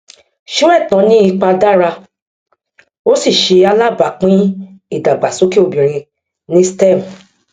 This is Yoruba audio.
sóẹtàn ní ipa dára ó sì ṣe alábápín ìdàgbàsókè obìnrin ní stem